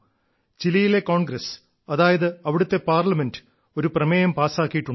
ചിലിയിലെ congress അതായത് അവിടത്തെ parliament ഒരു പ്രമേയം പാസ്സാക്കിയിട്ടുണ്ട്